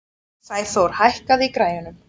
Sæþór, hækkaðu í græjunum.